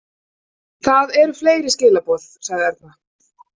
Það eru fleiri skilaboð, sagði Erna.